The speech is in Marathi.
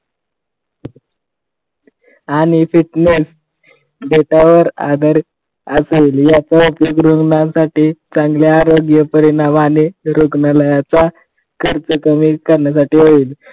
आणि fitness असेल याचा उपयोग रुग्णासाठी चांगला आरोग्य परिणाम आणि रुग्णालयाचा खर्च कमी करण्यासाठी होईल.